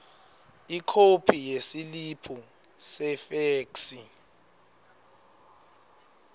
ikhophi yesiliphu sefeksi